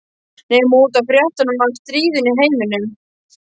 Nema út af fréttunum af stríðinu í heiminum.